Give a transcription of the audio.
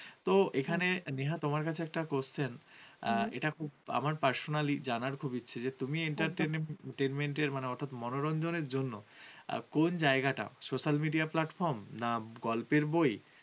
তুমি entertainment এর মানে অর্থাৎ মনোরঞ্জনের জন্য, আর কোন জায়গাটা social media platform প্ল্যাটফর্ম না গল্পের বই